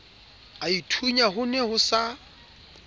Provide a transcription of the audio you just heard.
aithunya ho ne ho sa